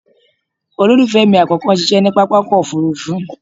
Olólùfẹ́ mi àkọ́kọ́ ń ṣiṣẹ́ ní pápákọ̀ òfuurufú